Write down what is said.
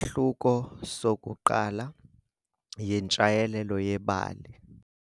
Isahluko sokuqala yintshayelelo yebali.